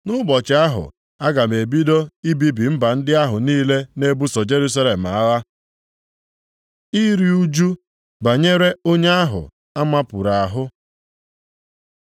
Nʼụbọchị ahụ, aga m ebido ibibi mba ndị ahụ niile na-ebuso Jerusalem agha. Iru ụjụ banyere onye ahụ a mapuru ahụ